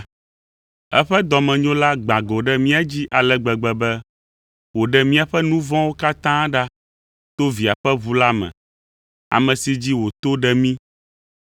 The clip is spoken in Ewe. Eƒe dɔmenyo la gbã go ɖe mía dzi ale gbegbe be wòɖe míaƒe nu vɔ̃wo katã ɖa to Via ƒe ʋu la me, ame si dzi wòto ɖe mí,